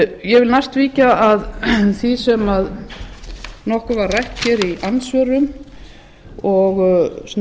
ég vil næst víkja að því sem nokkuð var rætt hér í andsvörum og